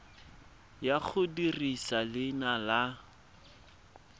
ya go dirisa leina la